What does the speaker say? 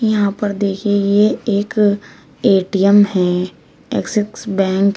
यहां पर देखिए ये एक ए_टी_एम है एक्सिस बैंक है।